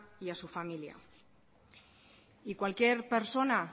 y a su familia y cualquier persona